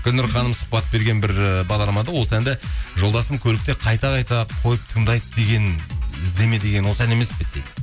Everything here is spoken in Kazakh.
гүлнұр ханым сұхбат берген бір ыыы бағдарламада осы әнді жолдасым көлікте қайта қайта қойып тыңдайды деген іздеме деген осы ән емес пе еді дейді